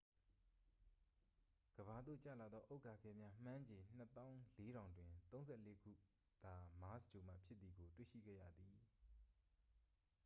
ကမ္ဘာသို့ကျလာသော ဥက္ကာခဲများ မှန်းခြေ 24000 တွင် 34ခုသာ မားစ်ဂြိုဟ်မှဖြစ်သည်ကို တွေ့ရှိခဲ့ရသည်